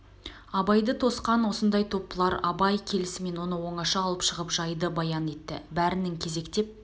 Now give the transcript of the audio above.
абайды тосқан осындай топ бұлар абай келісмен оны оңаша алып шығып жайды баян етті бәрінің кезектеп